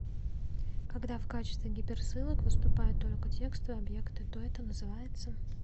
когда в качестве гиперссылок выступают только текстовые объекты то это называется